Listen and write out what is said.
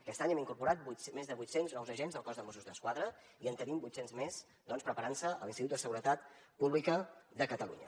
aquest any hem incorporat més de vuit cents nous agents al cos de mossos d’esquadra i en tenim vuit cents més preparant se a l’institut de seguretat pública de catalunya